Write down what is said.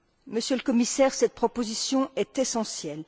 Monsieur le Commissaire, cette proposition est essentielle.